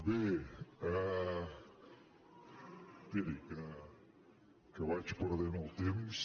bé esperi que vaig perdent el temps